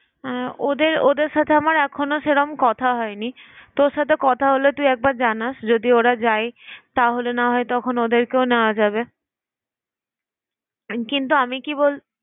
হ্যাঁ ওদের ওদের সাথে আমার এখনো সেরম কথা হয়নি। তোর সাথে কথা হলে তুই একবার জানাস। যদি ওরা যায় তাহলে না হয় তখন ওদের কেও নেওয়া যাবে কিন্তু আমি কি বল